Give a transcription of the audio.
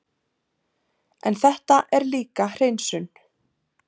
En þetta er líka hreinsun.